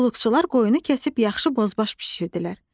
Qulluqçular qoyunu kəsib yaxşı bozbaş bişirdilər.